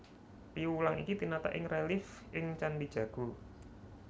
Piwulang iki tinatah ing relief ing Candhi Jago